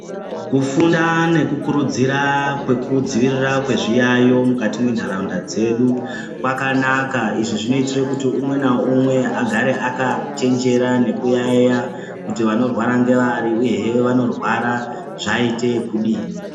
Kufunda nekurudzira kwekudzivirira kwezviyayo mukati mwenharaunda dzedu kwakanaka izvi zvinoite kuti umwe naumwe agare akachenjera nekuyayeya kuti vanorwara ngavari uyehe vanorwara zvaite ekudini.